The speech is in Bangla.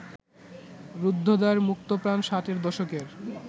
রুদ্ধদ্বার মুক্তপ্রাণ ষাটের দশকের